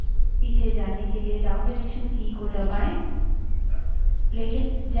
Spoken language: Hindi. पीछे जाने के लिए downडायरेक्सन की की दबायें